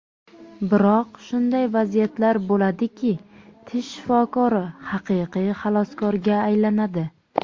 Biroq shunday vaziyatlar bo‘ladiki, tish shifokori haqiqiy xaloskorga aylanadi.